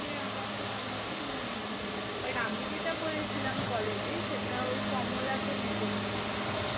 আমার তো তেমন কিছু মনে নেই। but আমি যেটা করেছিলাম college এ সেটা ওই কমলাতে নেচে ছিলাম আমি।